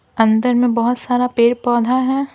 अंदर में बहुत सारा पेड़-पौधा है।